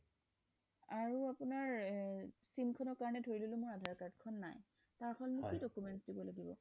আৰু আপোনাৰ sim খনৰ কাৰণে ধৰি ললো আধাৰ card খন নাই হয় তাৰ কাৰণে মই কি documents দিব লাগিব